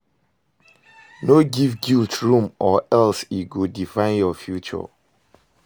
No giv guilt room o or else e go define yur future